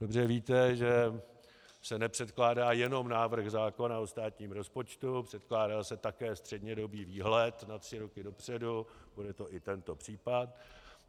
Dobře víte, že se nepředkládá jenom návrh zákona o státním rozpočtu, předkládá se také střednědobý výhled na tři roky dopředu, bude to i tento případ.